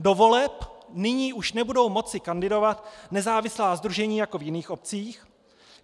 Do voleb nyní už nebudou moci kandidovat nezávislá sdružení jako v jiných obcích.